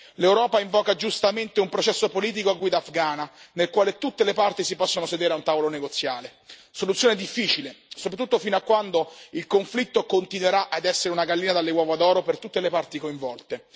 L'Europa invoca giustamente un processo politico a guida afghana, nel quale tutte le parti si possano sedere a un tavolo negoziale soluzione difficile, soprattutto fino a quando il conflitto continuerà ad essere una gallina dalle uova d'oro per tutte le parti coinvolte